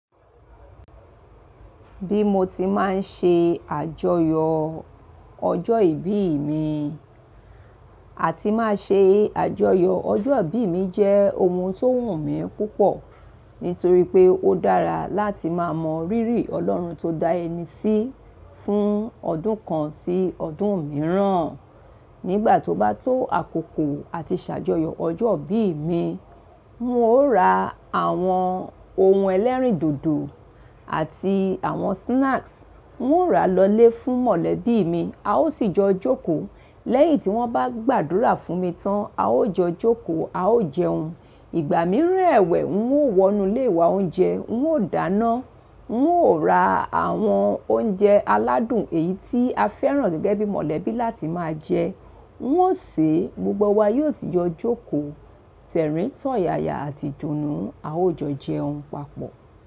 Bí mo ti máa ń ṣe àjọyọ̀ ọjọ́ ìbí mi àti máa ṣe àjọyọ̀ ọjọ́ ìbí mi jẹ́ ohun tó wù mí púpọ̀ nítorí pé ó dára láti máa mọ rírì Ọlọ́run tó dá ẹni sí fún ọdún kan sí ọdún mìíràn. Nígbà tó bá tó àkókò àti ṣàjọyọ̀ ọjọ́ ìbí mi, n óò ra àwọn ohun ẹlẹ́rìndòdò àti àwọn snacks. N óò ra lọ ilé fún mọ̀lẹ́bí mi, a ó sì yọ jókòó. Lẹ́yìn tí wọ́n bá gbàdúrà fún mi tán, a ó jọ jókòó, a ó jẹun. Ìgbà mìíràn ẹ̀wẹ̀, n óò wọnú ilé wa oúnjẹ, n óò dáná, n óò ra àwọn oúnjẹ aládùn èyí tí a fẹ́ràn gẹ́gẹ́ bí mọ̀lẹ́bí láti máa jẹ, n óò sè é, gbogbo wa yóò sì yọ jókòó tẹ̀rín, tọ̀yaya àti idùnù, a ó jọ jẹun papọ̀